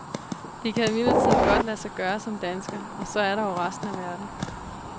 Det kan imidlertid godt lade sig gøre som dansker, og så er der jo resten af verden.